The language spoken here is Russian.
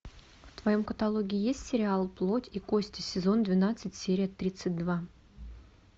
в твоем каталоге есть сериал плоть и кости сезон двенадцать серия тридцать два